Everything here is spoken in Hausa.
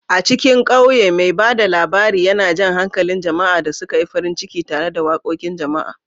A cikin ƙauye, mai ba da labari yana jan hankalin jama'a da suka yi farin ciki tare da waƙoƙin jama'a.